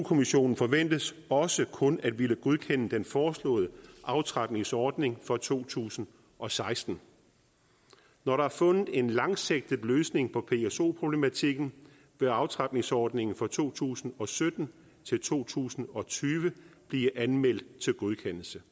kommissionen forventes også kun at ville godkende den foreslåede aftrapningsordning for to tusind og seksten når der er fundet en langsigtet løsning på pso problematikken vil aftrapningsordningen fra to tusind og sytten til to tusind og tyve blive anmeldt til godkendelse